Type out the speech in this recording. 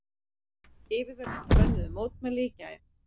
Yfirvöld bönnuðu mótmæli í gær